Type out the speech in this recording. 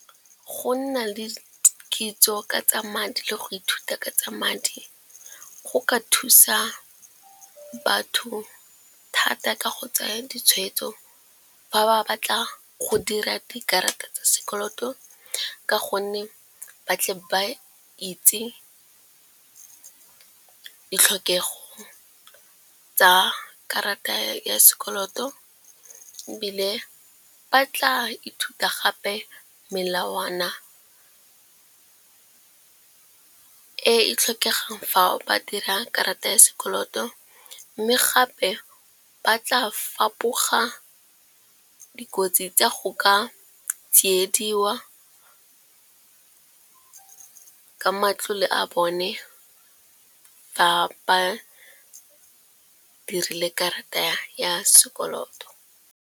Go nna le kitso ka tsa madi le go ithuta ka tsa madi go ka thusa batho thata ka go tsaya ditshwetso fa ba batla go dira dikarata tsa sekoloto. Ka gonne ba tle ba itse ditlhokego tsa karata ya sekoloto ebile ba tla ithuta gape melawana e e tlhokegang fa ba dira karata ya sekoloto. Mme gape ba tla fapoga dikotsi tsa go ka tsiediwa ka matlole a bone fa ba dirile karata ya sekoloto.